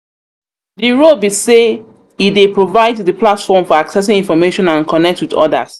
di role be say e dey provide di platform for accessing information and connect with odas.